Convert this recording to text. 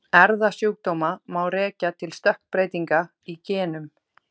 Erfðasjúkdóma má rekja til stökkbreytinga í genum.